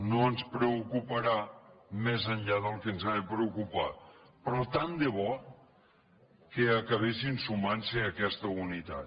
no ens preocuparà més enllà del que ens ha de preocupar però tant de bo que acabessin sumant se a aquesta unitat